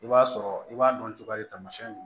I b'a sɔrɔ i b'a dɔn cogoya ye tamasiyɛn